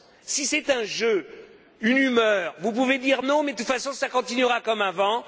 Si c'est un jeu, une humeur, vous pouvez dire non, mais de toute façon, ça continuera comme avant.